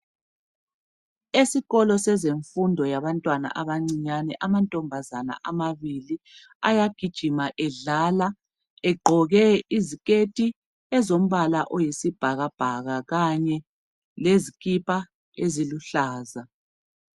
Esikolo sezemfundo yabantwana abancinyane, amantombazana amabili, ayagijima edlala, egqoke iziketi zombala oyisibhakabhaka kanye lezikipa eziluhlaza.